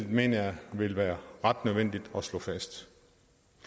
mener jeg vil være ret nødvendigt at slå fast